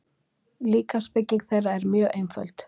Líkamsbygging þeirra er mjög einföld.